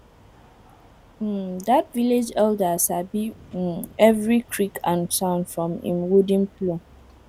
um that village elder sabi um every creak and sound from him wooden plow